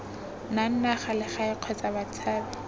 nang naga legae kgotsa batshabi